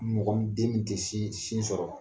Mɔgɔ min den den min tɛ sin sɔrɔ.